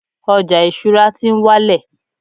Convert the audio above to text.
ọja isura ti n wálẹ̀